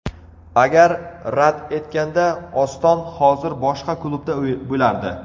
Agar rad etganda Oston hozir boshqa klubda bo‘lardi.